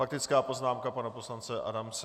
Faktická poznámka pana poslance Adamce.